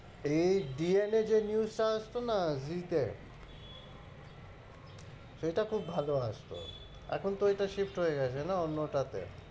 এই DNA যে news টা আসতো না জি তে সেইটা খুব ভালো আসতো, এখন তো ঐটা shift হয়ে গেছে না অন্যটাতে।